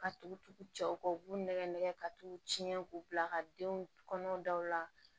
Ka tugu tugu cɛw kɔ u b'u nɛgɛ nɛgɛ ka t'u tiɲɛ k'u bila ka denw kɔnɔ daw la